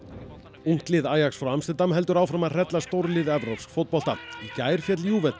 ungt lið frá Amsterdam heldur áfram að hrella stórlið evrópsks fótbolta í gær féll